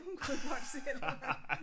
Hun kunne ikke holde selv